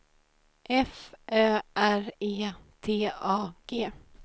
F Ö R E T A G